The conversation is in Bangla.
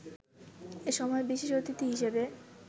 এ সময় বিশেষ অতিথি হিসেবে